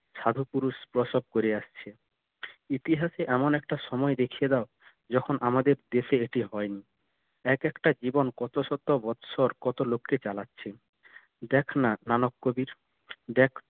সাধু পুরুষ প্রসব করিয়া আসছে ইতিহাসে এমন একটা সময় দেখিয়ে দাও যখন আমাদের দেশে এটি হয় নি এক একটা জীবন কত শত বছর কত লোককে চালাচ্ছে দেখ না মানব কবির দেখ